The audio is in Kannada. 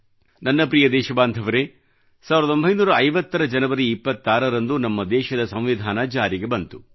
ನನ್ನ ಪ್ರಿಯ ದೇಶಬಾಂಧವರೇ 1950 ರ ಜನವರಿ 26 ರಂದು ನಮ್ಮ ದೇಶದ ಸಂವಿಧಾನ ಜಾರಿಗೆ ಬಂತು